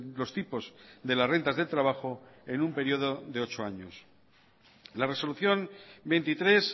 los tipos de las rentas de trabajo en un periodo de ocho años la resolución veintitrés